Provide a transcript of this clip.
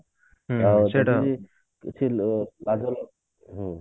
ସେଟା କିଛି ଲାଭ ନାଇଁ